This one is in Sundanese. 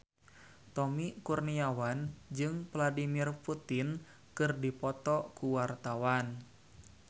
Tommy Kurniawan jeung Vladimir Putin keur dipoto ku wartawan